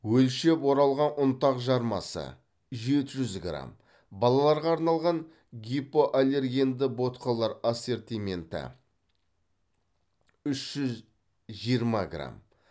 өлшеп оралған ұнтақ жармасы жеті жүз грамм балаларға арналған гипоаллергенді ботқалар ассортименті үш жүз жиырма грамм